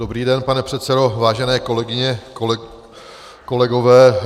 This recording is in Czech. Dobrý den, pane předsedo, vážené kolegyně, kolegové.